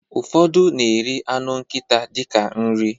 Ụfọdụ na-eri anụ nkita dịka nri